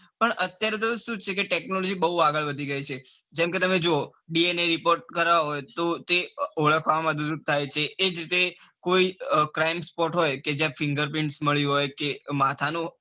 પણ અત્યારે તો સુ છે કે technology બૌ આગળ વધી ગયી છે. જેમકે તમે જુઓ DNA report કરાવવો હોય તો ઓળખવામાં થાય છે એજ રીતે કોઈ crime spot હોય તો fingerprint મળી હોય કે માથા નો,